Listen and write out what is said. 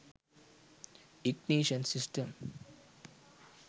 ignition system